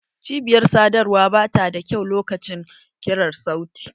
Cibiyar sadarwa ba ta da kyau lokacin ƙirar sauti.